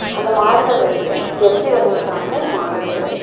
அந்த மாடுகள் வந்து ஜெர்சி வகைய சார்ந்த மாடுகள்.